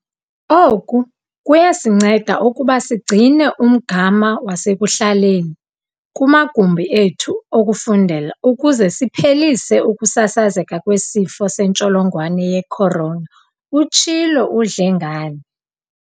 "Oku kuyakusinceda ukuba sigcine umgama wasekuhlaleni kumagumbi ethu okufundela ukuze siphelise ukusasazeka kweSifo seNtsholongwane ye-Corona," utshilo uDlengane.